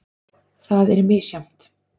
Það er misjafnt.